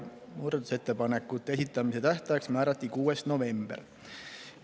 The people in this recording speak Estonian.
Muudatusettepanekute esitamise tähtajaks määrati 6. november.